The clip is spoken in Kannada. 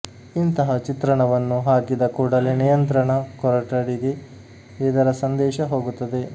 ಇಂತಹ ಚಿತ್ರಣವನ್ನು ಹಾಕಿದ ಕೂಡಲೇ ನಿಯಂತ್ರಣ ಕೊಠಡಿಗೆ ಇದರ ಸಂದೇಶ ಹೋಗುತ್ತದೆ